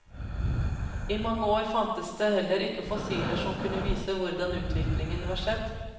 I mange år fantes det heller ikke fossiler som kunne vise hvordan utviklingen var skjedd.